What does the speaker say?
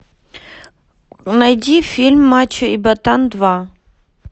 найди фильм мачо и ботан два